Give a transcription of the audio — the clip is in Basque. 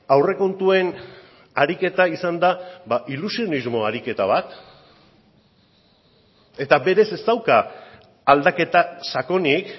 aurrekontuen ariketa izan da ilusionismo ariketa bat eta berez ez dauka aldaketa sakonik